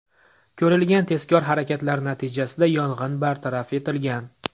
Ko‘rilgan tezkor harakatlar natijasida yong‘in bartaraf etilgan.